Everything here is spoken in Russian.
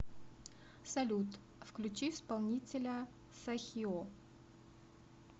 салют включи исполнителя сахио